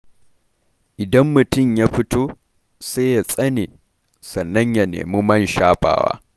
Idan mutum ya fito, sai ya tsane, sannan ya nemi man shafawa.